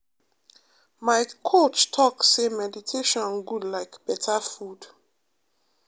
my coach talk say meditation good like better food.